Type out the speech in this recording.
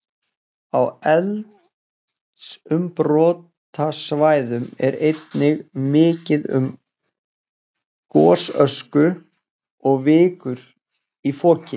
Á eldsumbrotasvæðum er einnig mikið um gosösku og vikur í foki.